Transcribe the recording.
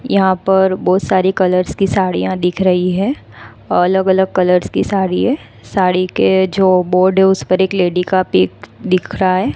यहां पर बहुत सारी कलर्स की साड़ियां दिख रही है अलग अलग कलर्स की साड़ी है साड़ी के जो बोर्ड है उस पर एक लेडी का पिक दिख रहा है।